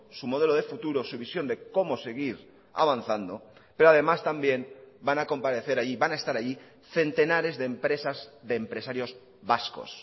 su modelo de futuro su visión de cómo seguir avanzando pero además también van a comparecer ahí van a estar allí centenares de empresas de empresarios vascos